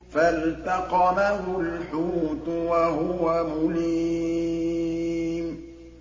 فَالْتَقَمَهُ الْحُوتُ وَهُوَ مُلِيمٌ